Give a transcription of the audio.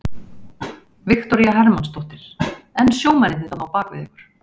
Viktoría Hermannsdóttir: En sjómennirnir þarna á bakvið ykkur?